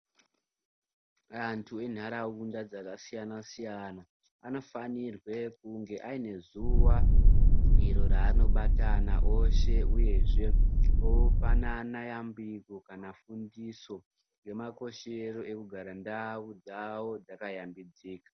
Antu enharawunda dzakasiyana siyana, anofanirwe kunge ayinezuwa iro ranobatana oshe, uyezve opanana yambiro kana fundiso yemakoshero ekugara ndawu dzavo dzakaya mbidzika.